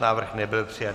Návrh nebyl přijat.